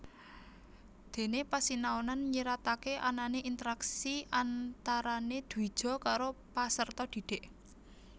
Dene pasinaonan nyiratake anane interaksi antarane dwija karo paserta dhidhik